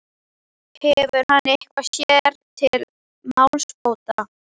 Þú hefur nú alltaf verið þungur á fóðrum.